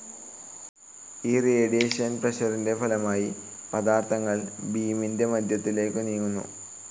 ഈ റേഡിയേഷൻ പ്രഷറിൻ്റെ ഫലമായി, പദാർത്ഥകങ്ങൾ ബീമിൻ്റെ മധ്യത്തിലേക്കു നീങ്ങുന്നു.